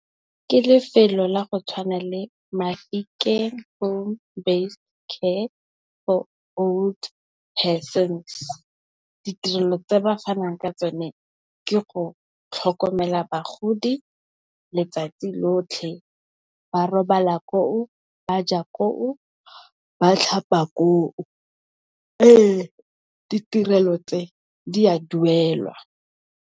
Ke lefelo la go tshwana le Mafikeng home based care for old persons. Ditirelo tse ba fanang ka tsone ke go tlhokomela bagodi letsatsi lotlhe ba robala koo, ba ja koo, ba tlhapa koo. Ee ditirelo tse di a duelwa.